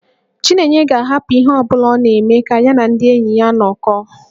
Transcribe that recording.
Chinenye ga-ahapụ ihe ọ bụla ọ na-eme ka ya na ndị enyi ya nọkọọ